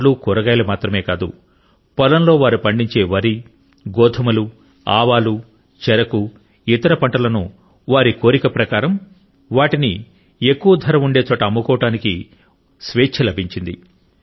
పండ్లు కూరగాయలు మాత్రమే కాదు పొలంలో వారు పండించే వరి గోధుమలు ఆవాలు చెరకు ఇతర పంటలను వారి కోరిక ప్రకారం వాటిని ఎక్కువ ధర ఉండే చోట అమ్ముకోవడానికి వారికి స్వేచ్ఛ లభించింది